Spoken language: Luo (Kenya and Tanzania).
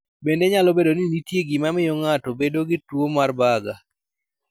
Bende nyalo bedo ni nitie gima miyo ng'ato bedo gi tuwo mar Buerger.